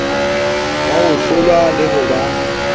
ba hohlola le ho ba